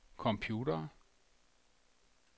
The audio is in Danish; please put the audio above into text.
computere